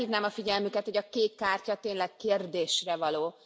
Felhívnám a figyelmüket, hogy a kék kártya tényleg kérdésre való.